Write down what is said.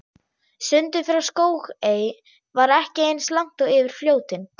Sundið frá Skógey var ekki eins langt og yfir Fljótin.